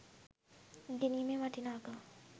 ඉගෙනීමේ වටිනාකම